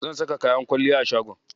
Zan saka kayan kwalliya a shagon.